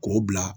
K'o bila